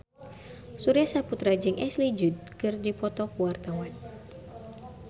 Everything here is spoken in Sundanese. Surya Saputra jeung Ashley Judd keur dipoto ku wartawan